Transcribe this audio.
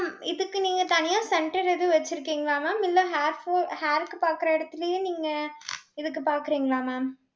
mam இதுக்கு நீங்க தனியா center எதுவும் வெச்சிருக்கீங்களா mam இல்ல hairfall hair க்கு பாக்குற இடத்துலயே நீங்க இதுக்கு பாக்கறீங்களா mam